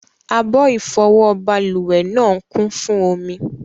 Abọ́ ìfọwọ́ balùwẹ̀ náà ń kún fún omi.